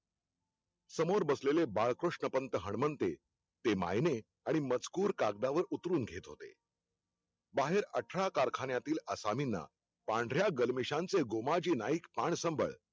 समोर बसलेले बाळकृष्णपंत हनुमंते, ते मायने आणि मजकुर कागदावर उतरून घेत होते बाहेर अठरा कारखान्याल्यातील असामिना पांढर्या गलमेशांचे गोमाजी नाईक पानसंबळ